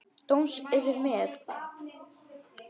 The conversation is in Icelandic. Dóms yfir mér.